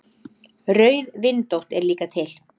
Rauðvindótt er líka til.